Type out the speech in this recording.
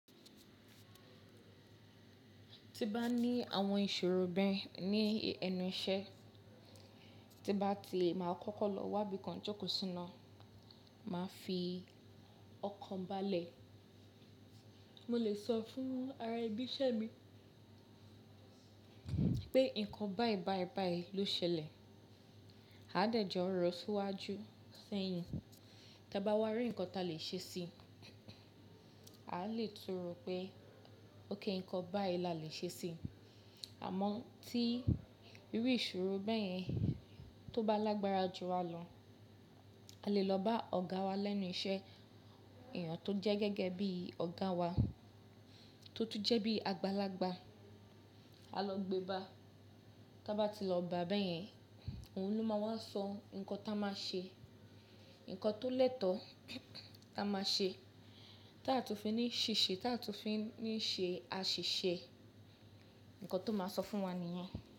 Ti bá ní àwọn ìṣòro bẹ́ẹ̀ ní ẹnu iṣẹ́, tí bá ti lè máa kọ́kọ́ lọ wá bí kan jókòó síná, máa fi ọkàn balẹ̀. Mo lè sọ fún ara ibi iṣẹ́ mi pé nǹkan bá ẹ bá ẹ bá ẹ ló ṣẹlẹ̀. A dẹ̀ jọ rọ́ síwájú sẹ́yìn. Tí a bá wá rí nǹkan ta lè ṣe sí i, a lè túru pé ókẹ́ nǹkan bá i lè ṣe sí i. Àmọ́ tí irú ìṣòro bẹ́ẹ̀ yẹn tó bá lágbára jù a lọ, a lè lọ bá ọ̀gá wa lẹ́nu iṣẹ́, èèyàn tó jẹ́ gẹ́gẹ́ bí ọ̀gá wa, tó tún jẹ́ bí àgbàlagbà, a lọ gbe bà. Tí a bá ti lọ bà bẹ́ẹ̀ yẹn, òun ló máa wá sọ nǹkan táa máa ṣe, nǹkan tó lẹ́tọ̀ọ́ táa máa ṣe, táa tún fi ní ṣìṣe, táa tún fi ní ṣe àṣìṣe, nǹkan tó máa sọ fún wa nìyẹn.